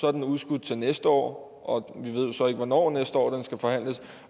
er den udskudt til næste år og vi ved jo så ikke hvornår næste år den skal forhandles